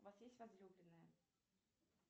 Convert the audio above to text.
у вас есть возлюбленная